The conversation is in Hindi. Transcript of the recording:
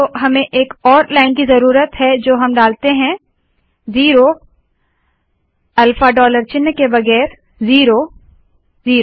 तो हमें एक और लाइन की जरुरत है जो की हम डालते है ज़िरो अल्फा डॉलर चिन्ह के बगैर ज़िरो ज़िरो